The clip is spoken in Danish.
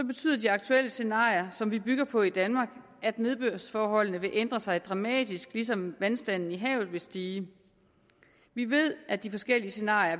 betyder de aktuelle scenarier som vi bygger på i danmark at nedbørsforholdene vil ændre sig dramatisk ligesom vandstanden i havet vil stige vi ved at de forskellige scenarier